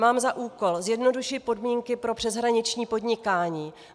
Mám za úkol zjednodušit podmínky pro přeshraniční podnikání.